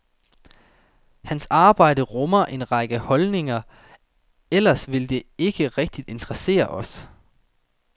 Hans arbejde rummer en række holdninger, ellers ville det ikke rigtig interessere os.